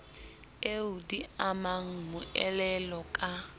eo di amang moelolo ka